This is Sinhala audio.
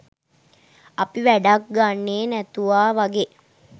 අපි වැඩක් ගන්නෙ නැතුවා වගේ